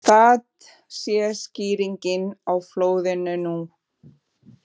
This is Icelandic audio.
Það sé skýringin á flóðinu nú